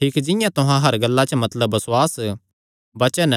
ठीक जिंआं तुहां हर गल्ला च मतलब बसुआस वचन